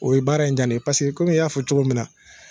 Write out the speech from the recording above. O ye baara in daminɛ paseke komi i y'a fɔ cogo min na.